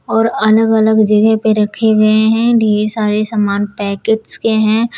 और अलग अलग जगह पे रखे गए हैं ढेर सारे सामान पैकेट्स के हैं।